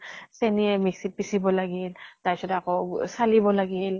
চেনীয়ে mixy ত পিচিব লাগিল, তাৰ পিছত আকৌ চালিব লাগিল